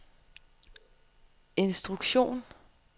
instruktion